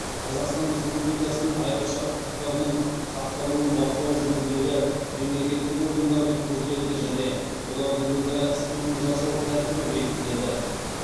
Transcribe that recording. қазақстан республикасының айрықша құқықтарының сақталуын бақылау жөніндегі мемлекеттік органдардың құзыреті және олардың өзара іс қимыл жасау тәртібі бекітіледі